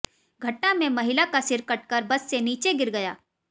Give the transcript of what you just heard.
घटना में महिला का सिर कटकर बस से नीचे गिर गया